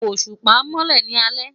Oṣupa nmọlẹ ni alẹ